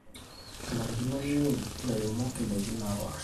enarikino neun ilairemok indaiki naapasha